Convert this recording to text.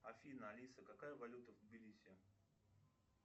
афина алиса какая валюта в тбилиси